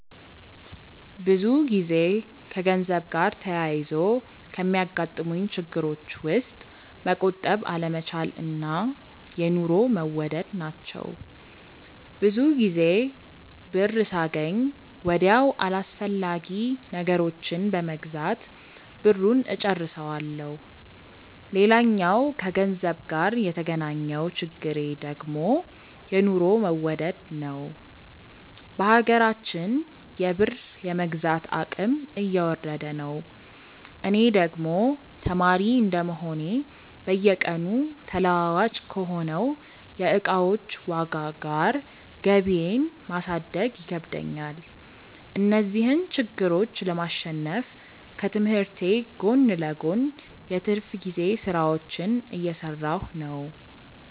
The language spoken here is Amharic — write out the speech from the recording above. ብዙ ጊዜ ከገንዘብ ጋር ተያይዞ ከሚያጋጥሙኝ ችግሮች ውስጥ መቆጠብ አለመቻል እና የኑሮ መወደድ ናቸው። ብዙ ጊዜ ብር ሳገኝ ወዲያው አላስፈላጊ ነገሮችን በመግዛት ብሩን እጨርሰዋለሁ። ሌላኛው ከገንዘብ ጋር የተገናኘው ችግሬ ደግሞ የኑሮ መወደድ ነዉ። በሀገራችን የብር የመግዛት አቅም እየወረደ ነው። እኔ ደግሞ ተማሪ እንደመሆኔ በየቀኑ ተለዋዋጭ ከሆነው የእቃዎች ዋጋ ጋር ገቢየን ማሳደግ ይከብደኛል። እነዚህን ችግሮች ለማሸነፍ ከትምህርቴ ጎን ለጎን የትርፍ ጊዜ ስራዎችን እየሰራሁ ነው።